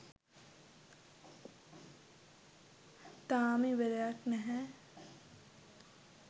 තාම ඉවරයක් නැහැ